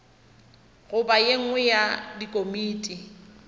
goba ye nngwe ya dikomiti